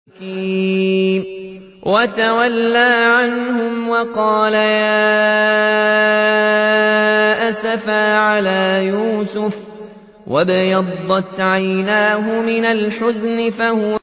وَتَوَلَّىٰ عَنْهُمْ وَقَالَ يَا أَسَفَىٰ عَلَىٰ يُوسُفَ وَابْيَضَّتْ عَيْنَاهُ مِنَ الْحُزْنِ فَهُوَ كَظِيمٌ